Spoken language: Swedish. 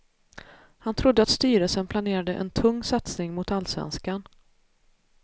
Han trodde att styrelsen planerade en tung satsning mot allsvenskan.